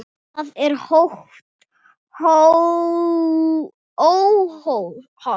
Það er óhollt.